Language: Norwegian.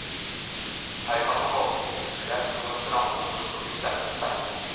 Her kan man våkne til kuraut og gå strandlangs og plukke spennende steiner.